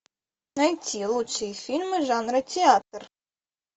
найти лучшие фильмы жанра театр